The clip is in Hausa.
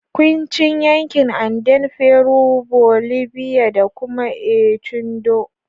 Quechua yankin Andean Peru, Bolivia, da kuma Ecuador